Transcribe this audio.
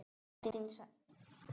Baldvin sagði til nafns.